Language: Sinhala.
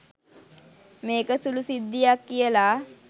මේක සුළු සිද්ධියක් කියලා.